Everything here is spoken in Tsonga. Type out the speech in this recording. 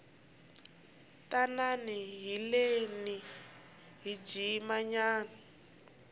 tanani haleni hi jima nyana